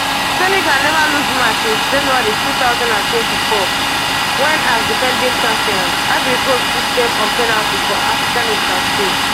senegal neva lose match since january two thousand and twenty-four wen as defending champions ivory coast beat dem on penalties for afcon lastsixteen stage